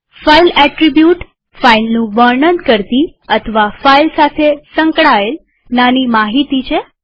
file attribute ફાઈલનું વર્ણન કરતી અથવા ફાઈલ સાથે સંકળાયેલ નાની માહિતી છે